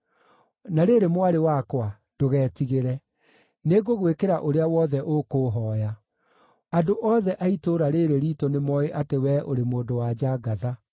Na rĩrĩ, mwarĩ wakwa, ndũgetigĩre. Nĩngũgwĩkĩra ũrĩa wothe ũkũũhooya. Andũ othe a itũũra rĩĩrĩ riitũ nĩmooĩ atĩ wee ũrĩ mũndũ-wa-nja ngatha.